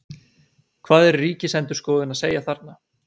Hvað er Ríkisendurskoðun að segja þarna?